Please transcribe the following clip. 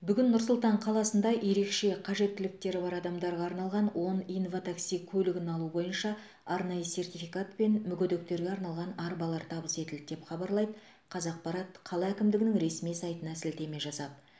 бүгін нұр сұлтан қаласында ерекше қажеттіліктері бар адамдарға арналған он инватакси көлігін алу бойынша арнайы сертификат пен мүгедектерге арналған арбалар табыс етілді деп хабарлайды қазақпарат қала әкімдігінің ресми сайтына сілтеме жасап